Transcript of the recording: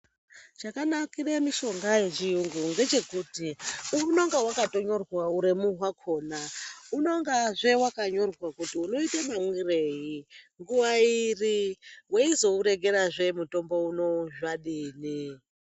Chakanakira mitombo yechiyungu ngechekuti unenga vakatonyorwa uremu rwakona, unongahe vakanyorwa kuti unoita mamwirei, nguva iri, veizouregerahe mutombo unouyu zvadini.